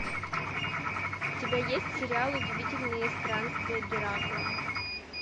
у тебя есть сериал удивительные странствия геракла